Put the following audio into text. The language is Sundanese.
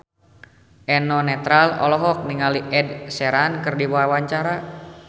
Eno Netral olohok ningali Ed Sheeran keur diwawancara